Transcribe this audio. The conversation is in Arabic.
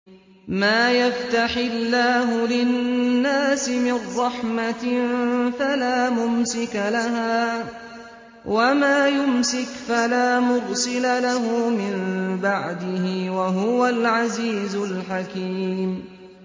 مَّا يَفْتَحِ اللَّهُ لِلنَّاسِ مِن رَّحْمَةٍ فَلَا مُمْسِكَ لَهَا ۖ وَمَا يُمْسِكْ فَلَا مُرْسِلَ لَهُ مِن بَعْدِهِ ۚ وَهُوَ الْعَزِيزُ الْحَكِيمُ